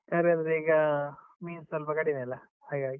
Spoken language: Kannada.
ತರಕಾರಿ ಅಂದ್ರೇ ಈಗ ಮೀನು ಸ್ವಲ್ಪ ಕಡಿಮೆ ಅಲಾ, ಹಾಗಾಗಿ.